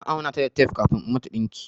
Na auna ta da tape kafin in mata ɗinki.